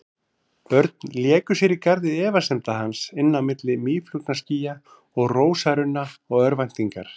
Börn léku sér í garði efasemda hans, inn á milli mýflugnaskýja og rósarunna og örvæntingar.